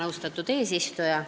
Austatud eesistuja!